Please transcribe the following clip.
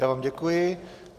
Já vám děkuji.